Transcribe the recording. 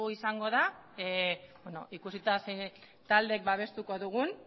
izango da ikusita zein taldek babestuko dugun